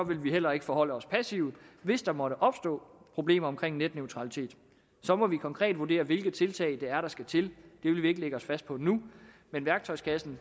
vil vi heller ikke forholde os passivt hvis der måtte opstå problemer med netneutralitet så må vi konkret vurdere hvilke tiltag det er der skal til det vil vi ikke lægge os fast på nu men værktøjskassen